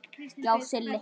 Já, Silli.